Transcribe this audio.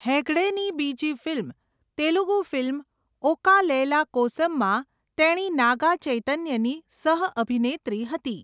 હેગડેની બીજી ફિલ્મ, તેલુગુ ફિલ્મ ઓકા લૈલા કોસમમાં તેણી નાગા ચૈતન્યની સહઅભિનેત્રી હતી.